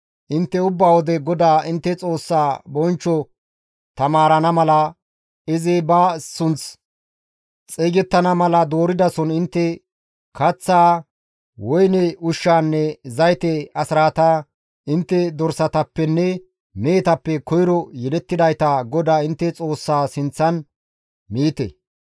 Intte ubba wode GODAA intte Xoossaa bonchcho taamarana mala izi ba sunththi xeygettana mala dooridason intte kaththaa, woyne ushshaanne zayte asraata, intte dorsatappenne mehetappe koyro yelettidayta GODAA intte Xoossaa sinththan miite.